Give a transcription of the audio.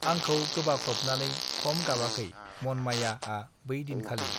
आंखौ गोबाख्रब नानै खम गाबाखै मनमायाआ बै दिन खालि